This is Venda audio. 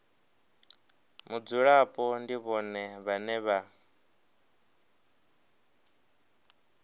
mudzulapo ndi vhone vhane vha